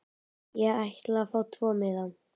Ég ætla að fá tvo miða.